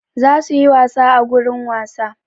Za su yi wasa a gurin wasa.